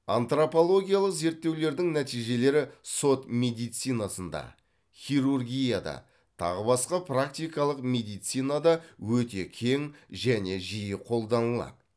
антропологиялық зерттеулердің нәтижелері сот медицинасында хирургияда тағы басқа практикалық медицинада өте кең және жиі қолданылады